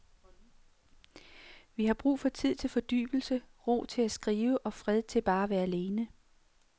Vi har brug for tid til fordybelse, ro til at skrive og fred til bare at være alene.